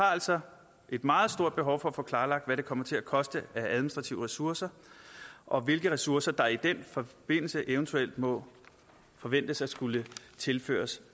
er altså et meget stort behov for at få klarlagt hvad det kommer til at koste af administrative ressourcer og hvilke ressourcer der i den forbindelse eventuelt må forventes at skulle tilføres